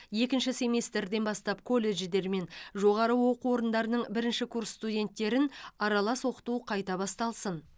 екінші семестрден бастап колледждер мен жоғары оқу орындарының бірінші курс студенттерін аралас оқыту қайта басталсын